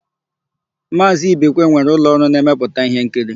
Maazị Ibekwe nwere ụlọọrụ na-emepụta íhénkiri.